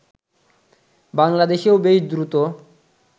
বাংলাদেশেও বেশ দ্রুত